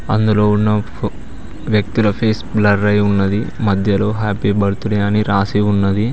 అందులో ఉన్న వ్యక్తుల ఫేస్ బ్లర్ అయ్యీ ఉన్నది మధ్యలో హ్యాపీ బర్త్డే అని రాసి ఉన్నది.